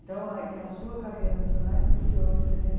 Então, aí e a sua carreira no Senac iniciou em setenta e